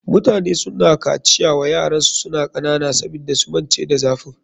Mutane suna kaciya wa yaransu suna kanana sabida su mance da zafin.